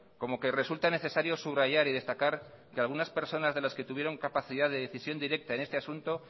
como que resulta necesario subrayar y destacar que algunas personas de las que tuvieron capacidad de decisión directa en este asunto